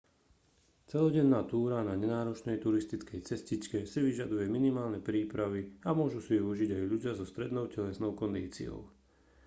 celodenná túra na nenáročnej turistickej cestičke si vyžaduje minimálne prípravy a môžu si ju užiť aj ľudia so strednou telesnou kondíciou